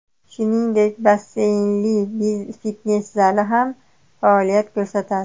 Shuningdek, basseynli fitnes zali ham faoliyat ko‘rsatadi.